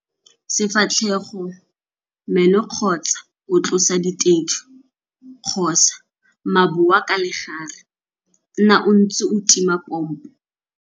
Sefatlhego, meno kgotsa o tlosa ditedu kgotsa maboa ka legare, nna o ntse o tima pompo.